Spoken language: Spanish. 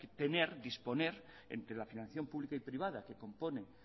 disponer entre la financiación pública y privada que compone